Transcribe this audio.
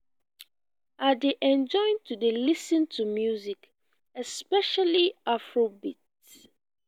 i dey enjoy to dey lis ten to music especially afro beats